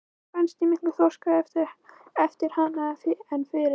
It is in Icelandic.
Mér fannst ég miklu þroskaðri eftir hana en fyrir.